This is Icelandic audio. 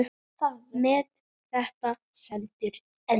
Met þetta stendur enn.